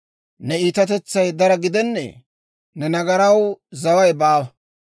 Ne iitatetsay dara gidennee? Ne nagaraw zaway baawa.